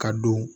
Ka don